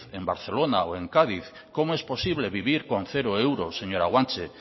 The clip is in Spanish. en barcelona o en cádiz cómo es posible vivir con cero euros señora guanche